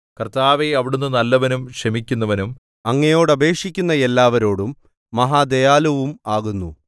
കർത്താവേ അവിടുന്ന് നല്ലവനും ക്ഷമിക്കുന്നവനും അങ്ങയോട് അപേക്ഷിക്കുന്ന എല്ലാവരോടും മഹാദയാലുവും ആകുന്നു